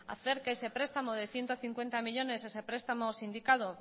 hacer que ese prestamo de ciento cincuenta millónes ese prestamo sindicado